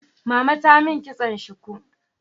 Mama ta mun kitson shuku